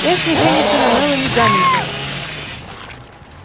эшли женится на мелани гамильтон